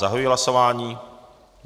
Zahajuji hlasování.